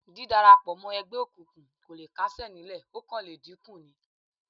Dídárapọ̀ mọ́ ẹgbẹ́ òkùnkùn kò le kásẹ̀ nílẹ̀ ó kàn le dínkù ni